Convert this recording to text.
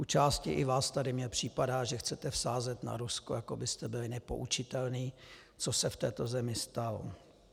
U části i vás tady mně připadá, že chcete vsázet na Rusko, jako byste byli nepoučitelní, co se v této zemi stalo.